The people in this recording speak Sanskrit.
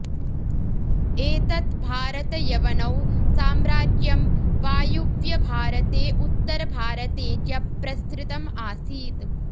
एतत् भारतयवनौ साम्राज्यं वायुव्यभारते उत्तरभारते च प्रसृतम् आसीत्